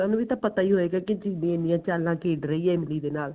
ਉਹਨਾ ਨੂੰ ਵੀ ਤਾਂ ਪਤਾ ਈ ਹੋਏਗਾ ਕੀ ਚੀਰੀ ਇੰਨੀਆਂ ਚਾਲਾ ਖੇਡ ਰਹੀ ਹੈ ਇਮਲੀ ਦੇ ਨਾਲ